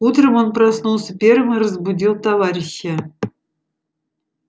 утром он проснулся первым и разбудил товарища